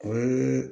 O ye